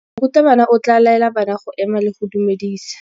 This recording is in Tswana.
Morutabana o tla laela bana go ema le go go dumedisa.